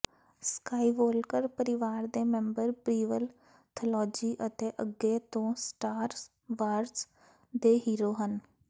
Skywalker ਪਰਿਵਾਰ ਦੇ member prequel trilogy ਅਤੇ ਅੱਗੇ ਤੋਂ ਸਟਾਰ ਵਾਰਜ਼ ਦੇ ਹੀਰੋ ਹਨ